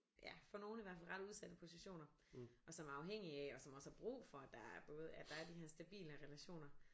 Ja for nogle i hvert fald ret udsatte positioner og som er afhængige af og som også har brug for at der både at der er de her stabile relationer